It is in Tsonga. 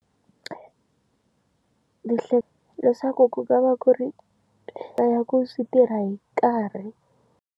Leswaku ku nga va ku ri na ku tirha hi nkarhi.